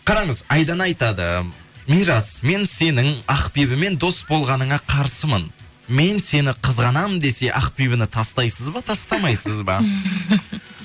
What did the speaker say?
қараңыз айдана айтады мирас мен сенің ақбибімен дос болғаныңа қарсымын мен сені қызғанамын десе ақбибіні тастайсыз ба тастамайсыз ба